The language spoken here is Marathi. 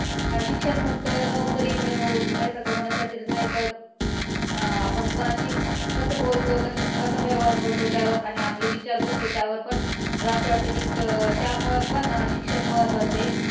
शिक्षण फक्त नोकरी मिळवून पैसे कमावण्यासाठीच नाही तर अं आपण कुणाशी कसं बोलतो, कसा व्यवहार करतो. त्यावर आपले विचार कसे आहे त्यावर पण मला असं वाटतं कि त्यामुळं पण शिक्षण महत्वाच आहे.